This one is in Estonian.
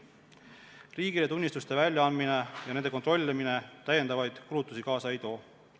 Riigile tunnistuste väljaandmine ja nende kontrollimine täiendavaid kulutusi kaasa ei too.